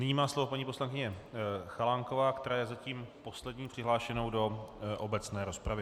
Nyní má slovo paní poslankyně Chalánková, která je zatím poslední přihlášenou do obecné rozpravy.